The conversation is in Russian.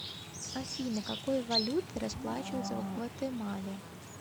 афина какой валютой расплачиваются в гватемале